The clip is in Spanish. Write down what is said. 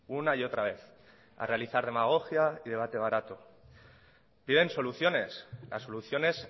una y otra vez a realizar demagogia y debate barato piden soluciones las soluciones